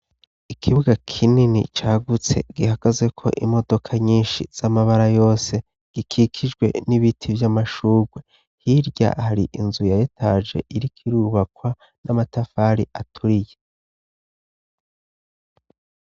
Ikibuga kinini cagutse, gihagazeko imodoka nyinshi z'amabara yose, gikikijwe n'ibiti vy'amashugwe, hirya hari inzu ya etaje iriko irubakwa n'amatafari aturiye.